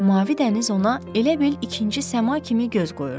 Mavi dəniz ona elə bil ikinci səma kimi göz qoyurdu.